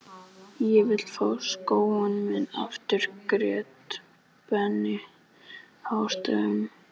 Ég vil fá skóinn minn aftur grét Benni hástöfum.